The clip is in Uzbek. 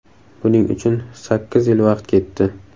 Buning uchun sakkiz yil vaqt ketdi.